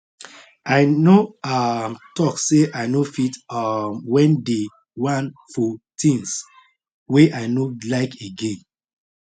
i no um talk say i no fit um when dey one fo things wey i no like again